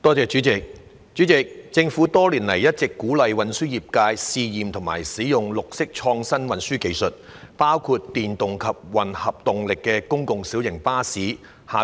主席，政府多年來一直鼓勵運輸業界試驗及使用綠色創新運輸技術，包括電動及混合動力的公共小型巴士。